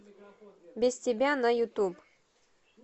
без тебя на ютуб